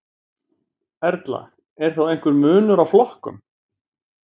Erla: Er þá einhver munur á flokkum?